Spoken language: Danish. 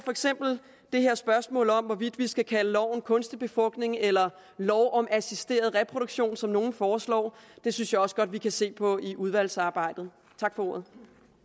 det her spørgsmål om hvorvidt vi skal kalde lov om kunstig befrugtning eller en lov om assisteret reproduktion som nogle foreslår det synes jeg også godt at vi kan se på i udvalgsarbejdet tak for ordet